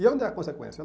E onde é a consequência?